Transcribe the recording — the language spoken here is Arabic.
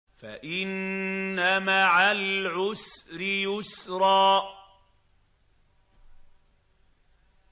فَإِنَّ مَعَ الْعُسْرِ يُسْرًا